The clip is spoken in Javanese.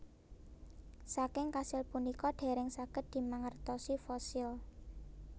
Saking kasil punika dèrèng saged dimangertosi fosil